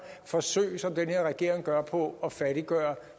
forsøg som den her regering gør på at fattiggøre